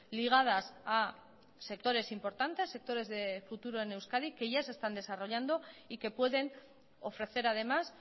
ligadas a sectores importantes sectores de futuro en euskadi que ya se están desarrollando y que pueden ofrecer además